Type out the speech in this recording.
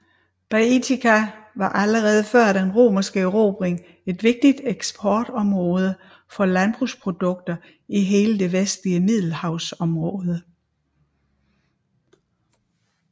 Baetica var allerede før den romerske erobring et vigtigt eksportområde for landbrugsprodukter i hele det vestlige middelahavsområde